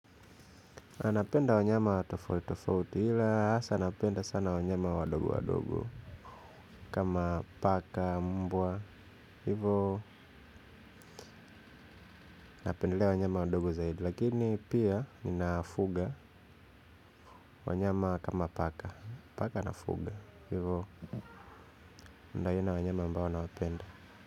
Napenda wanyama tofauti tofauti ila hasa napenda sana wanyama wadogo wadogo kama paka mbwa hivyo napendelea wanyama wadogo zaidi lakini pia ninafuga wanyama kama paka paka nafuga hivyo ndiyo aina ya wanyama ambao nawapenda.